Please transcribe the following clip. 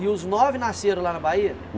E os nove nasceram lá na Bahia?